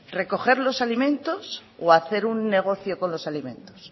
recoger los alimentos o hacer un negocio con los alimentos